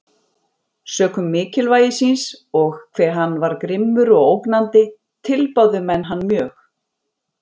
Sökum mikilvægi síns, og hve hann var grimmur og ógnandi, tilbáðu menn hann mjög.